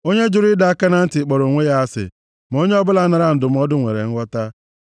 Onye jụrụ ịdọ aka na ntị kpọrọ onwe ya asị ma onye ọbụla naara ndụmọdụ nwere nghọta.